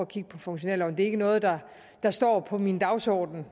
kigge på funktionærloven det er ikke noget der der står på min dagsorden